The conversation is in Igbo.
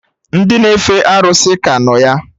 Ndị na-efe arụsị ka nọ ya